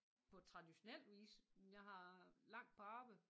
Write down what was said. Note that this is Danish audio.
På traditionel vis men jeg har langt på arbejde